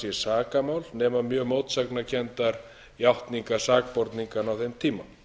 þetta mannshvarf sé sakamál nema mjög mótsagnakenndar játningar sakborninganna á þeim tíma